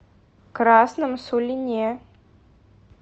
красном сулине